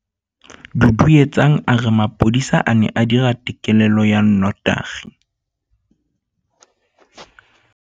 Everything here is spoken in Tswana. Duduetsang a re mapodisa a ne a dira têkêlêlô ya nnotagi.